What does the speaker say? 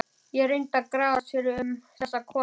Ég reyndi að grafast fyrir um þessa konu.